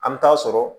An bɛ taa sɔrɔ